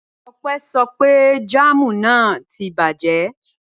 Ọpẹ́ sọ pé jáámù náà tí bàjẹ́.